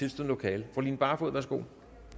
lokale fru line barfod værsgo